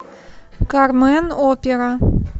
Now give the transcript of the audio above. кармен опера